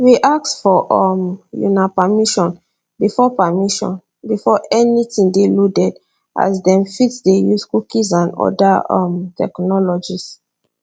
we ask for um una permission before permission before anytin dey loaded as dem fit dey use cookies and oda um technologies